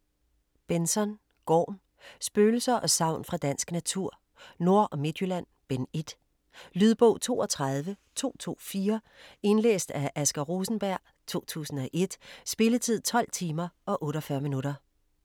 Benzon, Gorm: Spøgelser og sagn fra dansk natur: Nord- og Midtjylland: Bind 1 Lydbog 32224 Indlæst af Asger Rosenberg, 2001. Spilletid: 12 timer, 48 minutter.